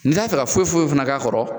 N'i t'a fɛ ka foyi foyi fana k'a kɔrɔ